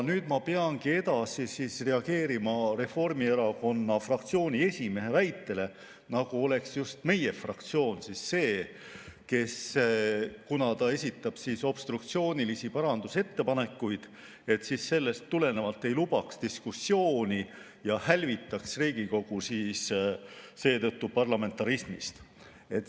Nüüd ma peangi reageerima Reformierakonna fraktsiooni esimehe väitele, nagu oleks just meie fraktsioon see, kes obstruktsiooniliste parandusettepanekute esitamise tõttu ei luba diskussiooni ja seetõttu hälvitab Riigikogu parlamentarismist.